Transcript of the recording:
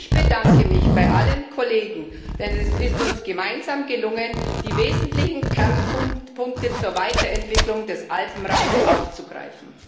Ich bedanke mich bei allen Kollegen, denn es ist uns gemeinsam gelungen, die wesentlichen Kernpunkte zur Weiterentwicklung des Alpenraums aufzugreifen.